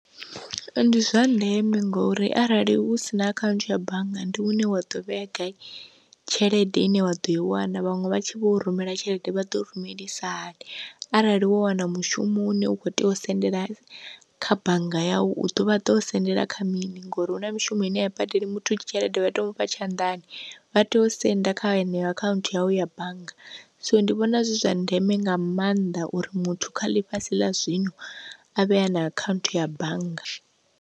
Ndi zwa ndeme ngori arali hu sina akhaunthu ya bannga ndi hune wa ḓo vhea gai tshelede ine wa ḓo i wana vhaṅwe vha tshi vho rumela tshelede vha ḓo rumelisiwa hani, arali wo wana mushumo une u kho tea u sendela kha bannga yau u ḓo vha ḓo sendela kha mini ngori hu na mishumo ine ya badeli muthu tshelede vha to mu fha tshanḓani vha tea u senda kha yeneyo akhaunthu yawe ya bannga, so ndi vhona zwi zwa ndeme nga maanḓa uri muthu kha ḽifhasi ḽa zwino a vhe a na akhaunthu ya bannga.